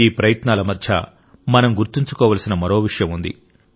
ఈ ప్రయత్నాల మధ్య మనం గుర్తుంచుకోవలసిన మరో విషయం ఉంది